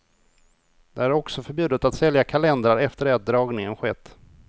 Det är också förbjudet att sälja kalendrar efter det att dragningen skett.